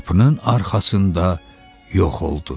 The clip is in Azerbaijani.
Qapının arxasında yox oldu.